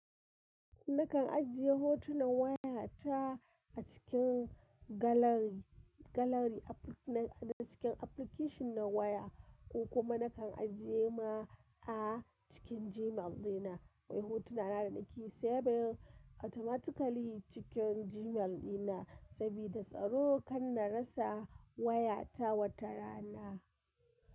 Nakan ajiye hotunan wayata a cikin gallery, gallery na cikin application na waya ko kuma nakan ajiye ma a cikin Gmail dina. Hotuna na da nake saving automatically cikin Gmail dina sabida tsaro kan na rasa wayata wata rana.